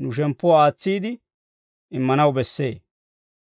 nu shemppuwaa aatsiide immanaw bessee.